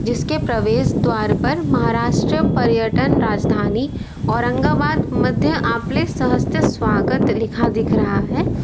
इसके प्रवेश द्वार पर महाराष्ट्र पर्यटन राजधानी औरंगाबाद मध्य आपले सहस्त्र स्वागत लिखा दिख रहा है।